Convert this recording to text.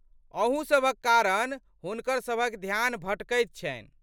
अहू सभक कारण हुनकर सभक ध्यान भटकैत छन्हि।